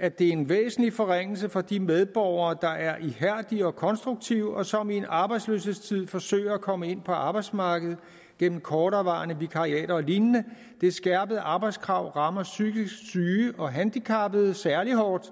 at det er en væsentlig forringelse for de medborgere der er ihærdige og konstruktive og som i en arbejdsløshedstid forsøger at komme ind på arbejdsmarkedet gennem korterevarende vikariater og lignende det skærpede arbejdskrav rammer psykisk syge og handicappede særlig hårdt